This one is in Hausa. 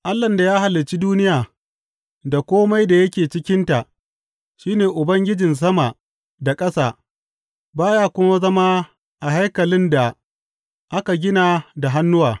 Allahn da ya halicci duniya da kome da yake cikinta shi ne Ubangijin sama da ƙasa, ba ya kuma zama a haikalin da aka gina da hannuwa.